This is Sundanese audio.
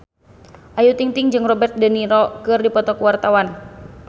Ayu Ting-ting jeung Robert de Niro keur dipoto ku wartawan